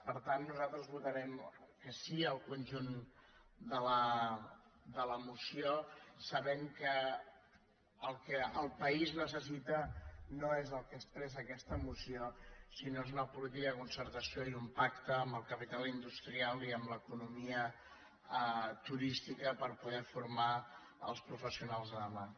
per tant nosaltres votarem que sí al conjunt de la mo·ció sabent que el que el país necessita no és el que expressa aquesta moció sinó que és una política de concertació i un pacte amb el capital industrial i amb l’economia turística per poder formar els professionals de demà